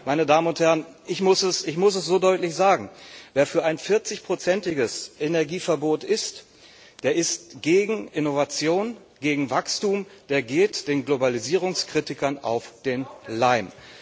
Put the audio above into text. Aber ich muss es so deutlich sagen Wer für ein 40 prozentiges Energieverbot ist, der ist gegen Innovation, gegen Wachstum, der geht den Globalisierungskritikern auf den Leim.